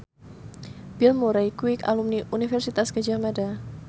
Bill Murray kuwi alumni Universitas Gadjah Mada